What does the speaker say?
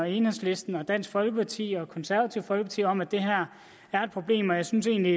enhedslisten dansk folkeparti og det konservative folkeparti om at det her er et problem og jeg synes egentlig